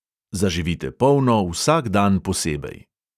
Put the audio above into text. Zaživite polno vsak dan posebej.